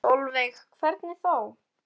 Sólveig: Hvernig þá?